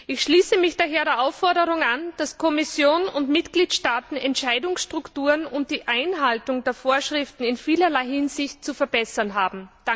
Ich schließe mich daher der Aufforderung an, dass Kommission und Mitgliedstaaten Entscheidungsstrukturen und die Einhaltung der Vorschriften in vielerlei Hinsicht zu verbessern haben.